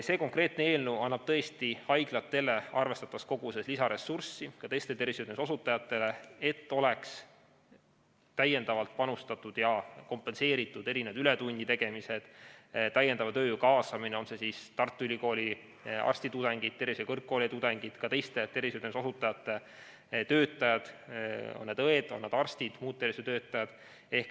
See konkreetne eelnõu annab tõesti arvestatavas koguses lisaressurssi haiglatele, ka teistele tervishoiuteenuste osutajatele, et oleks täiendavalt panustatud ja oleksid kompenseeritud ületunnid ning lisatööjõu kaasamine, on need siis Tartu Ülikooli arstitudengid, tervishoiu kõrgkooli tudengid, ka teiste tervishoiuteenuste osutajate töötajad, on need õed, on need arstid või muud tervishoiutöötajad.